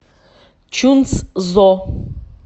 чунцзо